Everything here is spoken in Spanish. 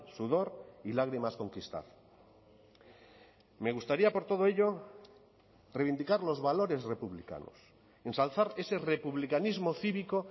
sudor y lágrimas conquistar me gustaría por todo ello reivindicar los valores republicanos ensalzar ese republicanismo cívico